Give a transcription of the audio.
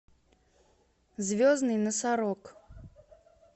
звездный носорог